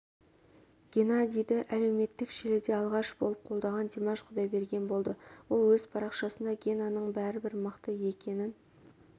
геннадийді әлеуметтік желіде алғаш болып қолдаған димаш құдайберген болды ол өз парақшасында генаның бәрібір мықты екенін